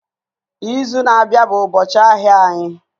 Izu na-abịa bụ ụbọchị ahịa anyị